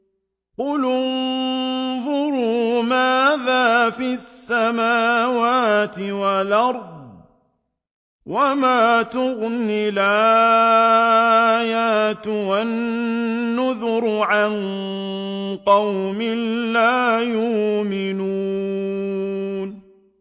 قُلِ انظُرُوا مَاذَا فِي السَّمَاوَاتِ وَالْأَرْضِ ۚ وَمَا تُغْنِي الْآيَاتُ وَالنُّذُرُ عَن قَوْمٍ لَّا يُؤْمِنُونَ